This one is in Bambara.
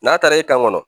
N'a taara i kan kɔnɔ